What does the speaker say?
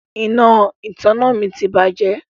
Iná ìtanná mi ti bàjẹ́.